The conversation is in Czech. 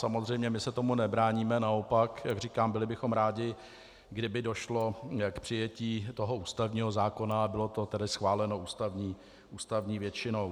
Samozřejmě my se tomu nebráníme, naopak, jak říkám, byli bychom rádi, kdyby došlo k přijetí toho ústavního zákona a bylo to tedy schváleno ústavní většinou.